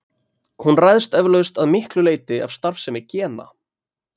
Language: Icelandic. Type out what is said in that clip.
Hún ræðst eflaust að miklu leyti af starfsemi gena.